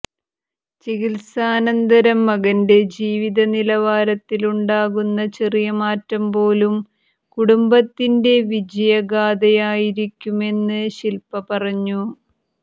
ചികിത്സാനന്തരം മകന്റെ ജീവിത നിലവാരത്തിലുണ്ടാകുന്ന ചെറിയ മാറ്റം പോലും കുടുംബത്തിന്റെ വിജയഗാഥയായിരിക്കുമെന്ന് ശില്പ പറഞ്ഞു